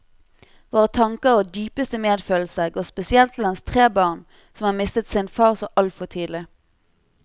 Våre tanker og dypeste medfølelse går spesielt til hans tre barn, som har mistet sin far så altfor tidlig.